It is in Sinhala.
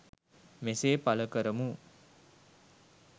මෙසේ පළ කරමු.